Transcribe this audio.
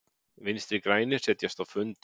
Vinstri grænir setjast á fund